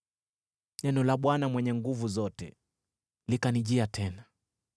Neno la Bwana Mwenye Nguvu Zote likanijia tena.